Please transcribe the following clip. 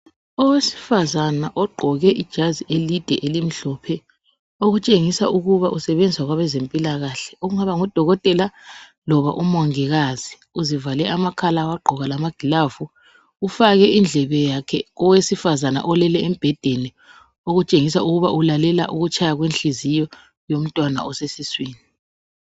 Owesifazana ogqoke ijazi elide elimhlophe, okutshengisa ukuba usebenza kwezempilakahle, okungaba ngudokotela loba umongikazi. Uzivale amakhala wagqoka lamagilavu. Ufake indlebe yakhe indlebe yakhe lowesifazana olele embhedeni okutshengisela ukuba ulalela ukutshaya kwenhliziyo yomntwana osesiswini.